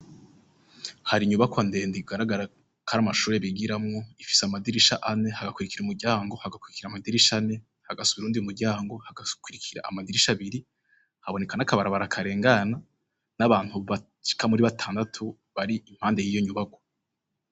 Hari inyubako andenda igigaragara kari amashure bigiramwo ifise amadirisha ane hagakurikira umuryango hagakurikira amadirisha ane hagasuba urundiyeumuryango hagakurikira amadirisha abiri habonekana akabara barakarengana n'abantu bachika muri batandatu bari impande y'iyo nyubako.